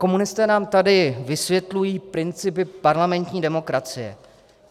Komunisté nám tady vysvětlují principy parlamentní demokracie.